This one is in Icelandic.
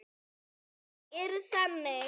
Þau eru þannig.